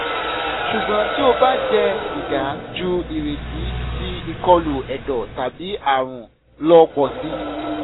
ṣugbọn ti o ba jẹ siga ju ireti ti ikolu ẹdọ tabi aarun lọ pọ si